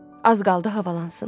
Az qaldı havalansın.